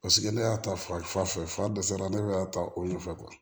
Paseke ne y'a ta fa fɛ fa dɛsɛ la ne bɛ a ta o ɲɛfɛ